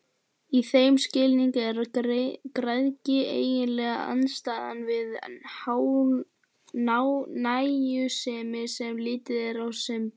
Í þeim skilningi er græðgi eiginlega andstæðan við nægjusemi, sem litið er á sem dygð.